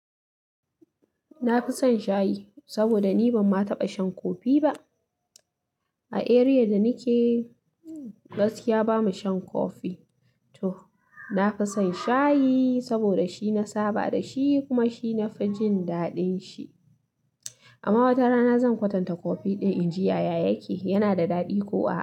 Na fi son shayi saboda ni ban ma taɓa shan kofi ba. A area da nike gaskiya ba mu shan kofi. To na fi son shayi saboda shi na saba da shi kuma shi na fi jin daɗin shi. Amma wata rana zan kwatanta kofi ɗin in ji yaya yake, yana da daɗi ko a.